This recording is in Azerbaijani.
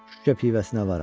Şüşə pivəsinə varam.